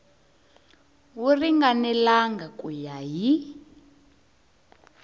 wu ringanelangi ku ya hi